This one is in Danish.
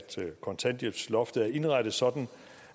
kontanthjælpsloftet er indrettet sådan